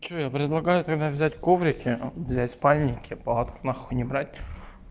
что я предлагаю тогда взять коврики взять спальники палатки нахуй не брать